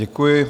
Děkuji.